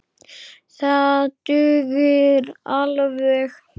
Það dugir alveg.